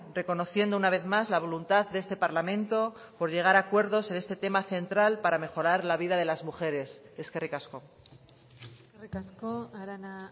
reconociendo una vez más la voluntad de este parlamento por llegar a acuerdos en este tema central para mejorar la vida de las mujeres eskerrik asko eskerrik asko arana